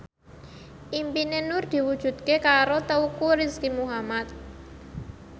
impine Nur diwujudke karo Teuku Rizky Muhammad